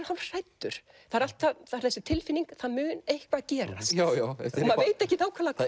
hálfhræddur það er þessi tilfinning það mun eitthvað gerast og maður veit ekkert nákvæmlega hvað